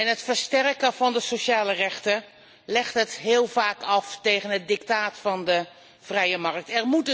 Het versterken van de sociale rechten legt het heel vaak af tegen het dictaat van de vrije markt.